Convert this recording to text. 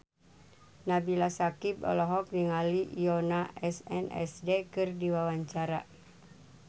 Nabila Syakieb olohok ningali Yoona SNSD keur diwawancara